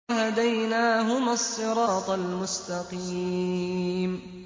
وَهَدَيْنَاهُمَا الصِّرَاطَ الْمُسْتَقِيمَ